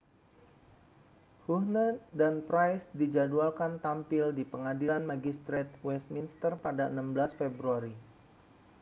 huhne dan pryce dijadwalkan tampil di pengadilan magistrate westminster pada 16 februari